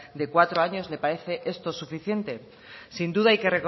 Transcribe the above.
de cuatro años le parece esto suficiente sin duda hay que